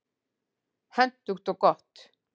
Hentugt og gott.